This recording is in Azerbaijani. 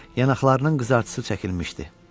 Yanaqlarının qızartısı çəkilmişdi.